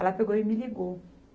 Ela pegou e me ligou.